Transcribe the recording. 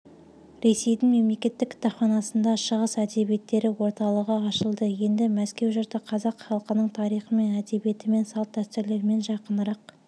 ресейдің мемлекеттік кітапханасында шығыс әдебиеттері орталығы ашылды енді мәскеу жұрты қазақ халқының тарихымен әдебиетімен салт-дәстүрлерімен жақынырақ